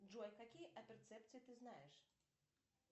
джой какие апперцепции ты знаешь